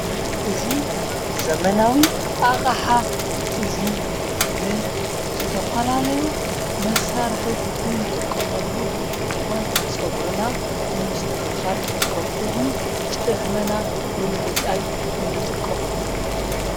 እዙይ ዘመናዊ ኣቓሓ እዙይ ንዝተፋላለዩ መሳርሕ እንጥቆመሉ እንትኾን ጸጕርና ንምስተኽኻል ከምኡውን ጭሕመና ንምልጻይ እንጥቆመሉ እዩ፡፡